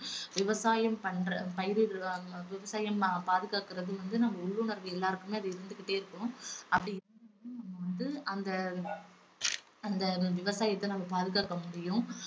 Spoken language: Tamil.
விவசாயம் பண்ற~ பயிரிடுறாங்க விவசாயம் பாதுகாக்குறது வந்து நம்ம உள்ளுணர்வு எல்லாருக்குமே அது இருந்துகிட்டே இருக்கும் அப்படி இருந்தா தான் வந்து அந்த அந்த விவசாயத்தை நம்ம பாதுகாக்க முடியும்.